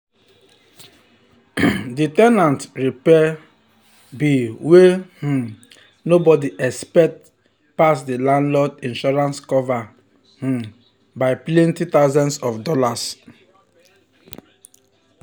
after all this years wey dem don save save dem don ready to put money for the beachside retreat